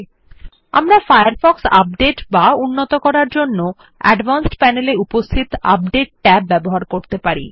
অবশেষে আমরা Firefox update বা উন্নত করার জন্য অ্যাডভান্সড প্যানেল এ উপস্থিত আপডেট ট্যাব ব্যবহার করতে পারি